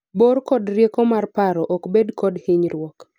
bor kod rieko mar paro ok bed kod hinyruok